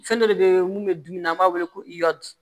Fɛn dɔ de bɛ mun bɛ dumuni na an b'a wele ko i ya di